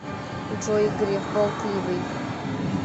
джой греф болтливый